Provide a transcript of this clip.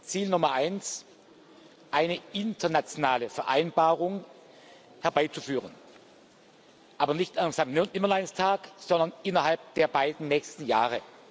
Ziel Nummer eins eine internationale Vereinbarung herbeizuführen, aber nicht erst am Sanktnimmerleinstag, sondern innerhalb der beiden nächsten Jahre.